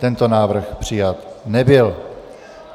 Tento návrh přijat nebyl.